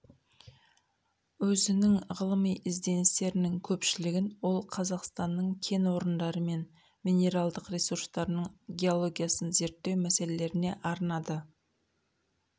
өзінің ғылыми ізденістерінің көпшілігін ол қазақстанның кен орындары мен минералдық ресурстарының геологиясын зерттеу мәселелеріне арнады